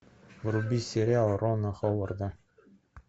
вруби сериал рона ховарда